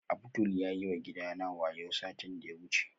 Abdul yayi wa gidana wayo satin da ya wuce